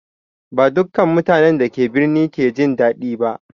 Ba dukkan mutanen da ke birni ke jin daɗi ba.